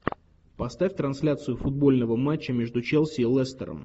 поставь трансляцию футбольного матча между челси и лестером